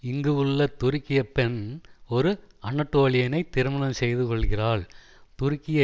இங்கு உள்ள துருக்கியப் பெண் ஒரு அனடோலியனைத் திருமணம் செய்து கொள்ளுகிறாள் துருக்கிய